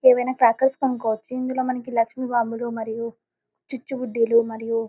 ఏమి ఐన సంకల్పం కోసం ఇందిలో లక్ష్మి బాంబులు మరియు చూచుబుడిలు మరియు.